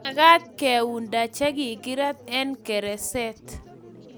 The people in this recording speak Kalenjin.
mekat keunda che kikirat eng' gereset